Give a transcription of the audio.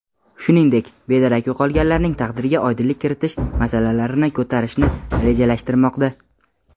shuningdek bedarak yo‘qolganlarning taqdiriga oydinlik kiritish masalalarini ko‘tarishni rejalashtirmoqda.